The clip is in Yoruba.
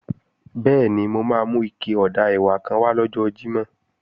Bẹ́ẹ̀ni, mo máa mú ike ọ̀dà ẹ̀wà kan wá lọ́jọ́ Jímọ̀